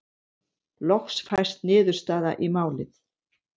Loks fæst niðurstaða í málið.